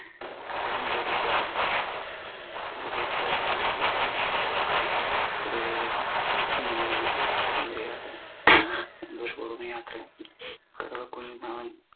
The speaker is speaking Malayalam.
കാര്യം ബോധ്യപ്പെട്ടു തിരികെ പോകാൻ കടുവയെയും കുഞ്ഞിനേയും ചെമ്മരിയാട് സന്തോഷപ്പൂർവം യാത്രയാക്കി കടുവ കുഞ് അവൻ